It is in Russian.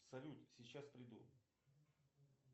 салют сейчас приду